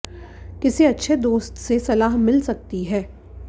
किसी अच्छे दोस्त से सलाह मिल सकती है